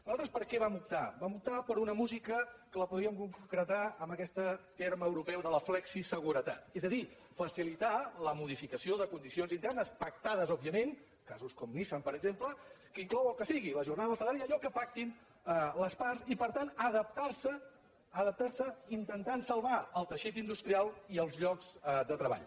nosaltres per què vam optar vam optar per una mú·sica que la podríem concretar amb aquest terme euro·peu de la flexiseguretat és a dir facilitar la modifica·ció de condicions internes pactades òbviament casos com nissan per exemple que inclou el que sigui la jornada el salari i allò que pactin les parts i per tant adaptar·se adaptar·se intentant salvar el teixit in·dustrial i els llocs de treball